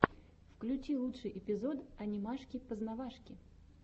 включи лучший эпизод анимашки познавашки